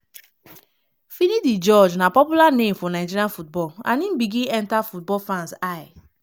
finidi george na popular name for nigeria football and im begin enta football fans eye